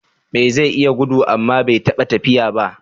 Me zai iya gudu amma bai taɓa tafiya ba?